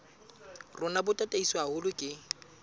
rona bo tataiswe haholo ke